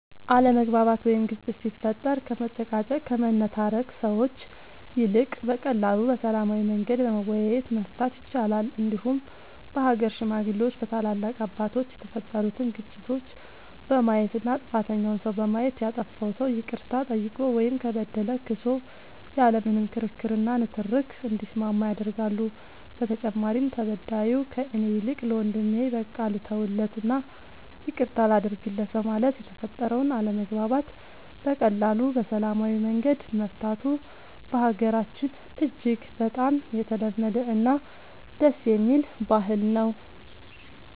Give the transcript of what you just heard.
አለመግባባት ወይም ግጭት ሲፈጠር ከመጨቃጨቅ ከመነታረክ ሰዎች ይልቅ በቀላሉ በሰላማዊ መንገድ በመወያየት መፍታት ይቻላል እንዲሁም በሀገር ሽማግሌዎች በታላላቅ አባቶች የተፈጠሩትን ግጭቶች በማየት እና ጥፋተኛውን ሰው በማየት ያጠፋው ሰው ይቅርታ ጠይቆ ወይም ከበደለ ክሶ ያለ ምንም ክርክር እና ንትርክ እንዲስማማ ያደርጋሉ በተጨማሪም ተበዳዩ ከእኔ ይልቅ ለወንድሜ በቃ ልተውለት እና ይቅርታ ላድርግለት በማለት የተፈጠረውን አለመግባባት በቀላሉ በሰላማዊ መንገድ መፍታቱ በሀገራችን እጅግ በጣም የተለመደ እና ደስ የሚል ባህል ነው።